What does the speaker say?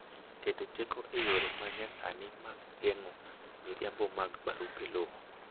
keto teko e yore ma nyasani mag geng'o miriambo mag barupe lowo